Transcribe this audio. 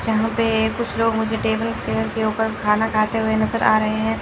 जहां पे कुछ लोग मुझे टेबल चेयर के ऊपर खाना खाते हुए नजर आ रहे हैं।